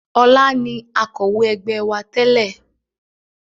Ọlá ni Akọ̀wé ẹgbẹ́ wá tẹ́lè